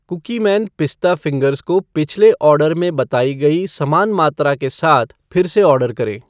Cookieman पिस्ता fingers को पिछले ऑर्डर में बताई गई समान मात्रा के साथ फिर से ऑर्डर करें।